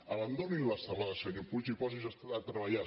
abandoni l’estelada senyor puig i posi’s a treballar